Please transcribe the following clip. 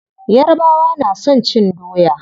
Yarabawa na son cin doya.